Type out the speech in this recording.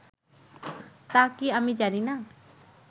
তা’ কি আমি জানি না